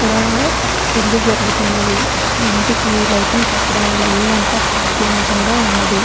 ఇక్కడా పెళ్లి జరుతున్నదిఇంటికి లైటింగ్ పెట్టడంవల్ల ఇల్లంతా కాంతివంతంగా ఉన్నది.